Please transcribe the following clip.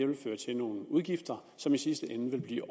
vil føre til nogle udgifter som i sidste ende vil blive